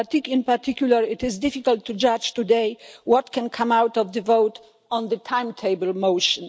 in particular it is difficult to judge today what can come out of the vote on the timetable motion.